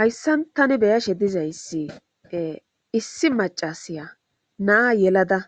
Hayssan tani beyashe dizayssi issi macasaya naa yelada